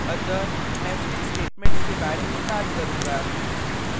अतः मैं switch statements के बारे में बात करूंगा